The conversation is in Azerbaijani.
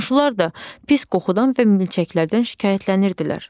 Qonşular da pis qoxudan və milçəklərdən şikayətlənirdilər.